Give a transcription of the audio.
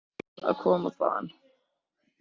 Þau eru alltaf svo glöð þegar þau koma þaðan.